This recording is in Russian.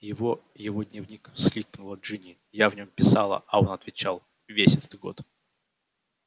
его его дневник всхлипнула джинни я в нём писала а он отвечал весь этот год